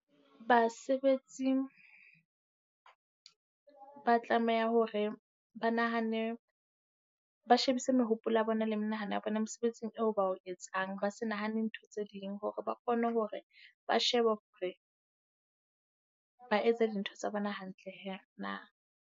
Basebetsi ba tlameha hore ba nahane, ba shebise mehopolo ya bona le menahano ya bona mosebetsing eo ba o etsang. Ba se nahane ntho tse ding, hore ba kgone hore ba sheba hore ba etsa dintho tsa bona hantle hee na.